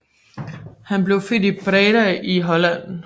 Han blev født i Breda i Holland